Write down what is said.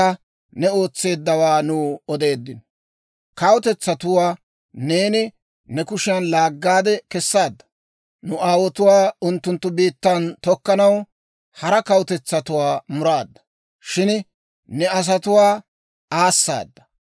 Kawutetsatuwaa neeni ne kushiyan laaggaade kessaadda; nu aawotuwaa unttunttu biittan tokkanaw; hara kawutetsatuwaa muraadda; shin ne asatuwaa aasaadda.